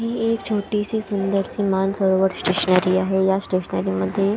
ही एक छोटीशी सुंदरशी मानसरोवर स्टेशनरि आहे या स्टेशनरि मध्ये --